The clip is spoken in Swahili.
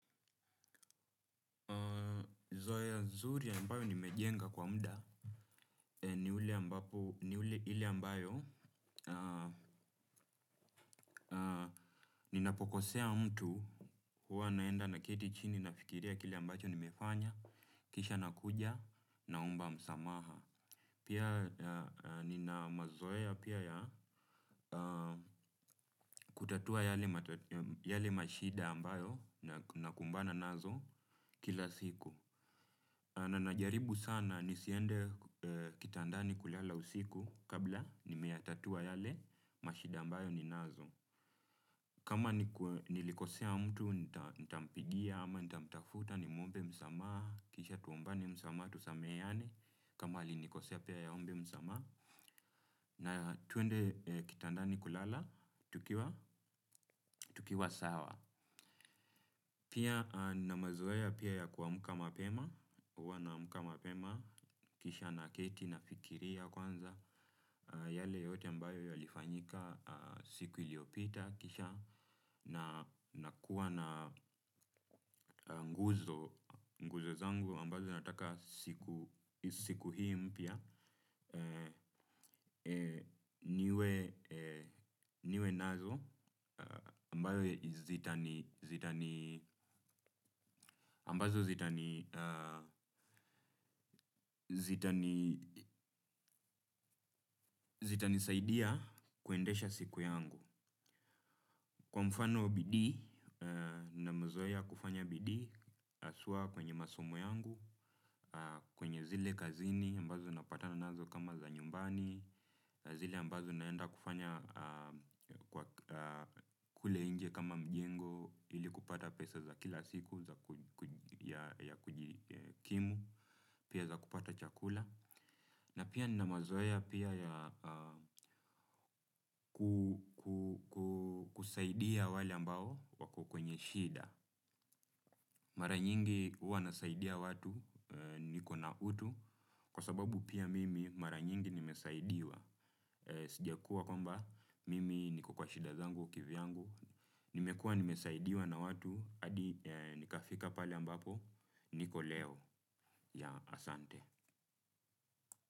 Zoea zuri ambayo nimejenga kwa muda ni ule ambapo ni ile ambayo ninapokosea mtu huwa naenda naketi chini nafikiria kile ambacho nimefanya, kisha nakuja naomba msamaha. Pia nina mazoea pia ya kutatua yale yale mashida ambayo nakumbana nazo kila siku. Na najaribu sana nisiende kitandani kulala usiku kabla nimeyatatua yale mashida ambayo ninazo. Kama nilikosea mtu nitampigia ama nitamtafuta nimuombe msamaha, kisha tuombane msamaha, tusameheane, kama alinikosea pia yeye aombe msamaha. Na twende kitandani kulala tukiwa, tukiwa sawa. Pia nina mazoea pia ya kuamka mapema, huwa naamka mapema, kisha naketi nafikiria kwanza yale yote ambayo yalifanyika siku iliyopita kisha nakuwa na nguzo zangu ambazo nataka siku hii mpya. Niwe nazo, ambazo zitanisaidia kuendesha siku yangu. Kwa mfano bidii, nina mazoea ya kufanya bidii hasa kwenye masomo yangu, kwenye zile kazini ambazo napatana nazo kama za nyumbani, zile ambazo naenda kufanya kule nje kama mjengo ili kupata pesa za kila siku ya kujikimu, pia za kupata chakula. Na pia nina mazoea pia ya kusaidia wale ambao wako kwenye shida. Mara nyingi huwa nasaidia watu nikona utu kwa sababu pia mimi mara nyingi nimesaidiwa. Sijakuwa kwamba mimi niko kwa shida zangu kivyangu. Nimekuwa nimesaidiwa na watu hadi nikafika pale ambapo niko leo yeah asante.